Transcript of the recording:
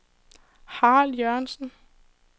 Harald Jørgensen